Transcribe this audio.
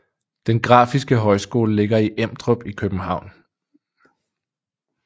Den Grafiske Højskole ligger i Emdrup i København